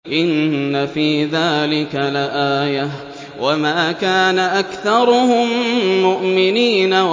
إِنَّ فِي ذَٰلِكَ لَآيَةً ۖ وَمَا كَانَ أَكْثَرُهُم مُّؤْمِنِينَ